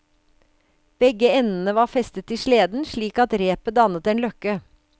Begge endene var festet til sleden, slik at repet dannet en løkke.